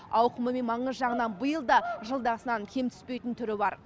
ауқымы мен маңызы жағынан биыл да жылдағысынан кем түспейтін түрі бар